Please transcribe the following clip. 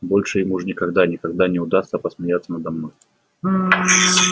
больше им уж никогда никогда не удастся посмеяться надо мной